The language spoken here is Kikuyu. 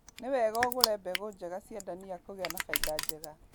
Nĩwega ũgũre mbegũ njega cia ndania kũgĩa na baida njega.